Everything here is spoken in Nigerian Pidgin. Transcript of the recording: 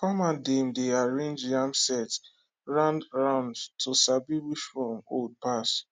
farmer dem dey arrange yam sett roundround to sabi which one old pass